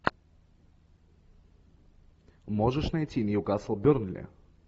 можешь найти ньюкасл бернли